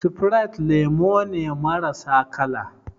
Sifrite lemu ne marasa kala